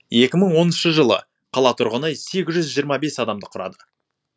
екі мың оныншы жылы қала тұрғыны сегіз жүз жиырма бес адамды құрады